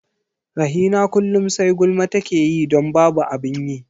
Rahina kullum sai gulma take yi don babu abin yi.